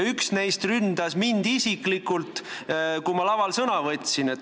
Üks neist ründas mind isiklikult, kui ma laval sõna võtsin.